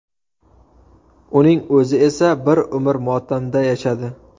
Uning o‘zi esa bir umr motamda yashadi.